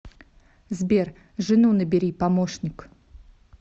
сбер жену набери помощник